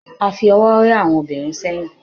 a fi ọwọ rẹ àwọn obìnrin sẹyìn